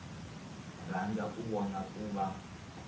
rhandza ka vona ku va